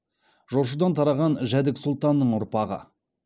жошыдан тараған жәдік сұлтанның ұрпағы